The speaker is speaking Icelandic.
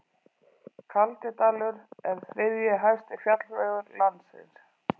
Kaldidalur er þriðji hæsti fjallvegur landsins.